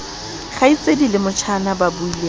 kgaitsedi le motjhana ba buileng